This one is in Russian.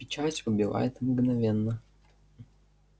печать убивает мгновенно